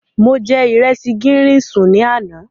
Mo jẹ ìresì gírín-ìn sùn ní àná.